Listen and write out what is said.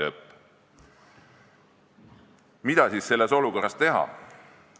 " Mida siis selles olukorras teha?